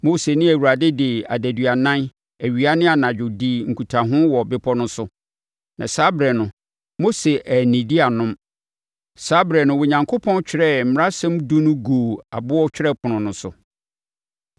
Mose ne Awurade de adaduanan, awia ne anadwo, dii nkutaho wɔ bepɔ no so, na saa ɛberɛ no, Mose annidi annom. Saa ɛberɛ no, Onyankopɔn twerɛɛ Mmaransɛm Edu no guu ɛboɔ twerɛpono so.